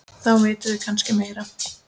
Þá vitum við kannski meira.